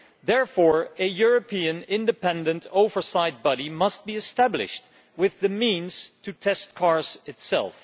Therefore, a European independent oversight body must be established with the means to test cars itself.